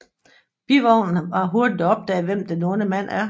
Bivognen har hurtigt opdaget hvem den onde mand er